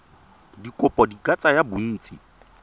dikopo di ka tsaya bontsi